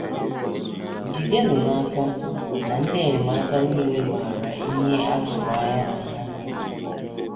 ❑ Jidenụ n’aka na ndị enyemaka nile maara ihe a tụrụ anya ka ha mee